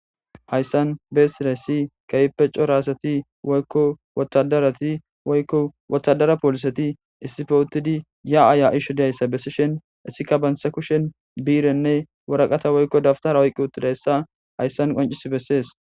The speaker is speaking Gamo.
Haysan besidaysi kehipe c'ora asati woyko woradarati woyko wotadara poliseti issipe utidi ya'a ya'ishe diyaysa besishen etika banta kushen birene woraqata woyko daftara oyqi utidaysa haysan qonc'si beses.